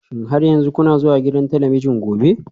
Shin har yanzu kuna zuwa gidan talabijin gobe?